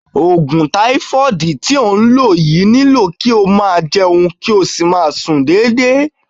Ogun taifoodi to n lo yii nilo ki o maa jeun, kio si maa sun dede.